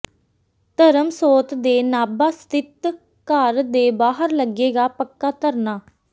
ਧਰਮਸੋਤ ਦੇ ਨਾਭਾ ਸਥਿਤ ਘਰ ਦੇ ਬਾਹਰ ਲੱਗੇਗਾ ਪੱਕਾ ਧਰਨਾ